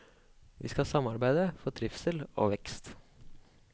Vi skal samarbeide for trivsel og vekst.